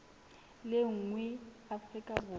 le nngwe feela afrika borwa